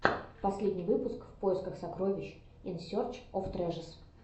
последний выпуск в поисках сокровищ ин серч оф трэжэс